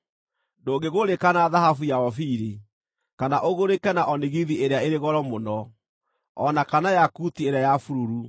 Ndũngĩgũrĩka na thahabu ya Ofiri, kana ũgũrĩke na onigithi ĩrĩa ĩrĩ goro mũno, o na kana yakuti ĩrĩa ya bururu.